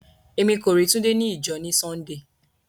Ẹmi kò rí Túndé ní ìjọ̀ ní Súndéé.